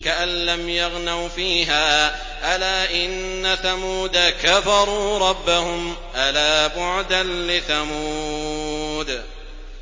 كَأَن لَّمْ يَغْنَوْا فِيهَا ۗ أَلَا إِنَّ ثَمُودَ كَفَرُوا رَبَّهُمْ ۗ أَلَا بُعْدًا لِّثَمُودَ